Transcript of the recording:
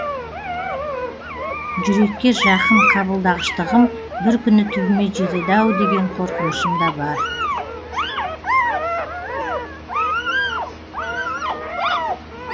жүрекке жақын қабылдағыштығым бір күні түбіме жетеді ау деген қорқынышым да бар